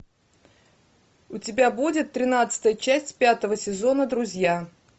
у тебя будет тринадцатая часть пятого сезона друзья